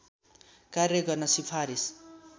कार्य गर्न सिफारिस